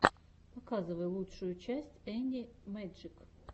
показывай лучшую часть энни мэджик